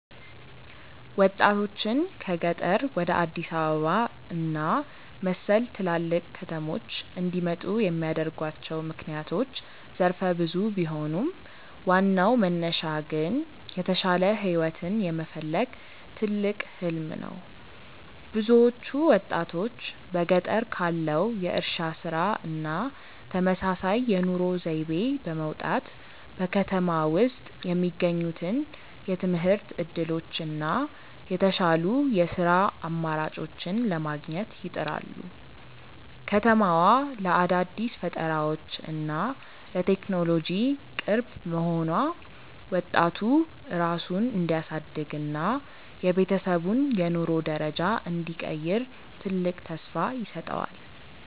ወጣቶችን ከገጠር ወደ አዲስ አበባ እና መሰል ትላልቅ ከተሞች እንዲመጡ የሚያደርጓቸው ምክንያቶች ዘርፈ ብዙ ቢሆኑም፣ ዋናው መነሻ ግን የተሻለ ህይወትን የመፈለግ ትልቅ "ህሊም" ነው። ብዙዎቹ ወጣቶች በገጠር ካለው የእርሻ ስራ እና ተመሳሳይ የኑሮ ዘይቤ በመውጣት፣ በከተማ ውስጥ የሚገኙትን የትምህርት እድሎች እና የተሻሉ የስራ አማራጮችን ለማግኘት ይጥራሉ። ከተማዋ ለአዳዲስ ፈጠራዎች እና ለቴክኖሎጂ ቅርብ መሆኗ፣ ወጣቱ ራሱን እንዲያሳድግ እና የቤተሰቡን የኑሮ ደረጃ እንዲቀይር ትልቅ ተስፋ ይሰጠዋል።